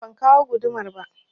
Jiya ban kawo gudumar ba